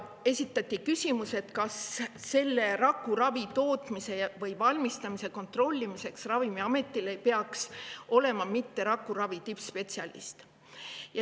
Esitati küsimus, kas selle rakuravimi valmistamise kontrollimise jaoks ei peaks mitte Ravimiametil olema rakuravi tippspetsialist.